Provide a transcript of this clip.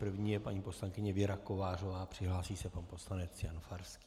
První je paní poslankyně Věra Kovářová, připraví se pan poslanec Jan Farský.